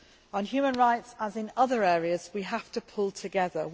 On human rights, as in other areas, we have to pull together.